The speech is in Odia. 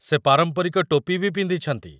ସେ ପାରମ୍ପରିକ ଟୋପି ବି ପିନ୍ଧିଛନ୍ତି ।